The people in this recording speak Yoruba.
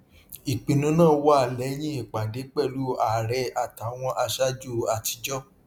ìpinnu náà wá lẹyìn ìpàdé pẹlú aàrẹ àtàwọn aṣáájú àtijọ